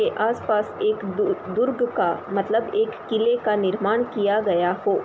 के आस-पास एक दूर दुर्ग का मतलब एक किले का निर्माण किया गया हो |